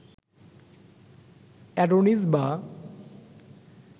Adonis বা